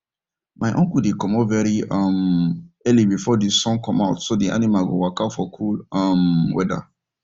my uncle dey comot very um early before the sun come out so the animals go waka for cool um weather